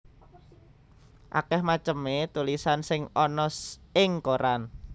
Akèh macemé tulisan sing ana ing koran